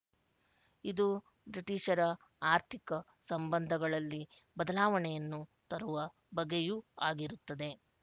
ಇದು ಬ್ರಿಟಿಶರ ಆರ್ಥಿಕ ಸಂಬಂಧಗಳಲ್ಲಿ ಬದಲಾವಣೆಯನ್ನು ತರುವ ಬಗೆಯೂ ಆಗಿರುತ್ತದೆ